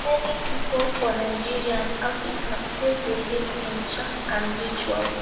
Many pipo for Nigeria and Africa still believe in charm and rituals